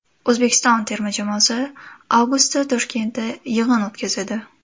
O‘zbekiston terma jamoasi avgustda Toshkentda yig‘in o‘tkazadi.